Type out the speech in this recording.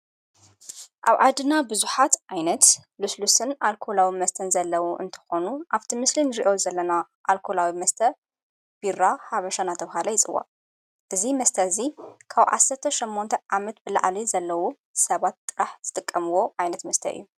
ኣብ ዓድና ብዙኃት ዓይነት ሉስሉስን ኣልኮላዊ መስተን ዘለዉ እንተኾኑ ኣብቲ ምስልን ርእዮ ዘለና ኣልኮላዊ መስተ ቡራ ሓበሻና ተውሃለ ኣይፅዋቕ እዙይ መስተ እዙይ ካውዓሰተ ሸሞንተ ዓመት ብለዓል ዘለዉ ሰባት ጥራሕ ዝተቀምዎ ኣይነት ምስተይ እዩ::